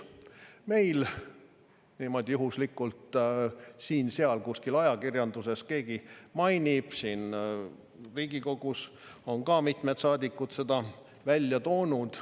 Meil niimoodi juhuslikult siin-seal kuskil ajakirjanduses keegi mainib, siin Riigikogus on ka mitmed saadikud seda välja toonud.